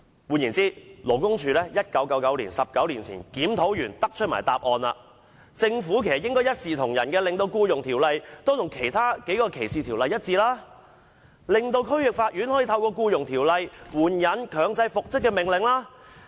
換言之，勞工處在1999年——即19年前——已經完成檢討，更得出以下結論：政府應一視同仁，令《僱傭條例》與其他3項歧視條例一致，令區域法院可以透過《僱傭條例》援引強制復職的命令。